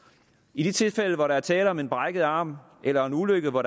i de tilfælde hvor der er tale om en brækket arm eller en ulykke og hvor